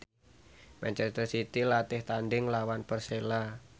manchester city latih tandhing nglawan Persela